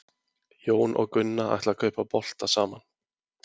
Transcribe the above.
jón og gunna ætla að kaupa bolta saman